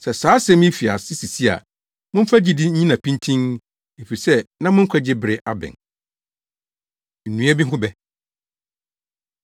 Sɛ saa asɛm yi fi ase sisi a, momfa gyidi nnyina pintinn, efisɛ na mo nkwagye bere abɛn.” Nnua Bi Ho Bɛ